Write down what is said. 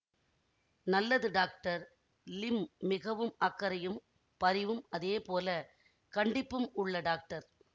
நல்லது doctor Lim மிகவும் அக்கறையும் பரிவும் அதே போல கண்டிப்பும் உள்ள டாக்டர்